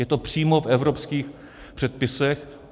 Je to přímo v evropských předpisech.